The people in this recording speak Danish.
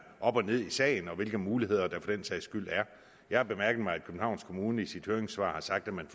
op og ned i sagen og hvilke muligheder der for den sags skyld er jeg har bemærket mig at københavns kommune i sit høringssvar har sagt at man